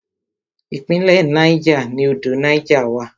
Ìpínlẹ̀ Niger ni odò Niger wà.